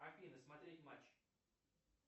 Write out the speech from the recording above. афина смотреть матч